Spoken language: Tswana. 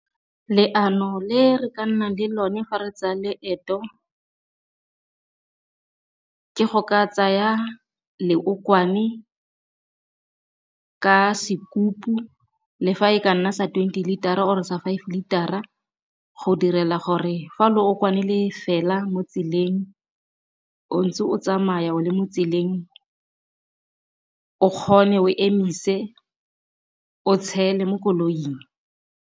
Leano le re ka nna le lone fa re tsaya leeto ke go ka tsaya leokwane ka sokutu le fa e ka nna sa twenty litara or-e sa five litara go direla gore fa leokwane le fela mo tseleng o ntse o tsamaya o le mo tseleng o kgone o emise o tshele mo koloing.